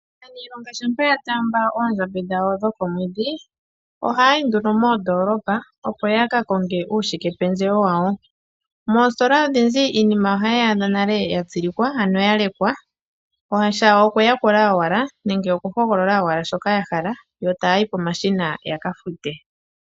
Aaniilonga shampa ya taamba oondjambi dhawo dhokomwedhi, ohaya yi nduno moondoolopa opo ya ka konge uushikependjewo wawo. Moositola odhindji iinima ohaye yi adha nale ya tsilikwa, ano ya lekwa, shawo okuyakula owala nenge okuhogolola shoka ya hala, yo taya yi pomashina ya ka fute.